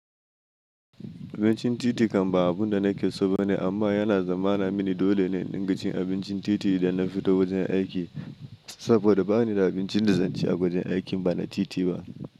Abincin titi kam ba abunda nake so ba ne, amma yana zamana mini dole ne in dinga cin abincin titi idan na fita wajen aiki. Saboda bani da abincin da zanci a wajen aikin inba na titi ba.